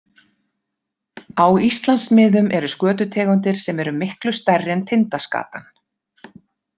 Á Íslandsmiðum eru skötutegundir sem eru miklu stærri en tindaskatan.